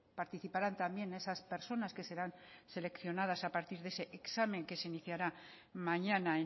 participarán también esas personas que serán seleccionadas a partir de ese examen que se iniciará mañana